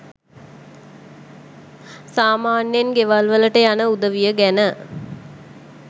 සාමාන්‍යයෙන් ගෙවල් වලට යන උදවිය ගැන